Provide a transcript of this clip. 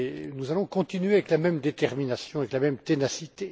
Nous allons continuer avec la même détermination, avec la même ténacité.